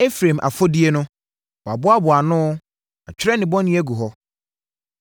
Efraim afɔdie no wɔaboaboa ano wɔatwerɛ ne bɔne agu hɔ.